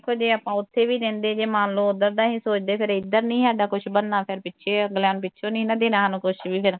ਜੇ ਆਪਾਂ ਉੱਥੇ ਵੀ ਰਹਿੰਦੇ ਜੇ ਮੰਨ ਲੋ ਉਧਰ ਦਾ ਵੀ ਸੋਚਦੇ, ਫੇਰ ਇੱਧਰ ਦਾ ਨਹੀ ਸਾਡਾ ਕੁਝ ਬਣਨਾ ਫੇਰ ਪਿੱਛੇ ਅਗਲਿਆ । ਫੇਰ ਪਿੱਛੋ ਨਹੀਂ ਸੀ ਦੇਣਾ ਸਾਨੂੰ ਕੁਝ ਵੀ ਫਿਰ।